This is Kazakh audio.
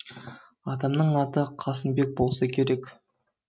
атамның аты қасымбек болса керек